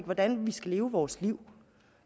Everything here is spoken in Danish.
hvordan vi skal leve vores liv